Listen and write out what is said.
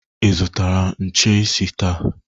Ị zụtara nche isi taa?